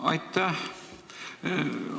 Aitäh!